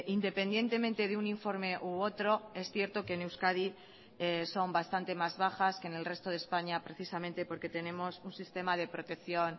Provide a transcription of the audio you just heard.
independientemente de un informe u otro es cierto que en euskadi son bastante más bajas que en el resto de españa precisamente porque tenemos un sistema de protección